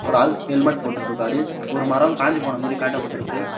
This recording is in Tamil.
ஒரு ஆள் ஹெல்மெட் போட்டுட்டு இருக்காரு ஒரு மரம் காஞ்சி போன மாரி காட்டப்பட்ருக்கு.